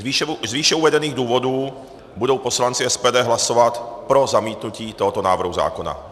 Z výše uvedených důvodů budou poslanci SPD hlasovat pro zamítnutí tohoto návrhu zákona.